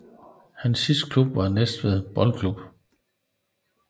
Hans sidste klub var Næstved Boldklub